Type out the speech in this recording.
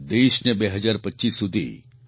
દેશને 2025 સુધી ટી